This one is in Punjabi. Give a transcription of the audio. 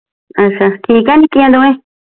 ਅੱਛਾ ਠੀਕ ਆ ਨਿੱਕੀਆਂ ਦੋਵੇਂ